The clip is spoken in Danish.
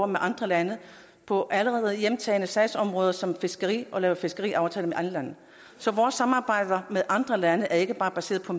med andre lande på allerede hjemtagne sagsområder som fiskeri og vi laver fiskeriaftaler med andre lande så vores samarbejde med andre lande er ikke bare baseret på